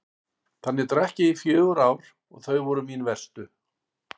Þannig drakk ég í fjögur ár og þau voru mín verstu.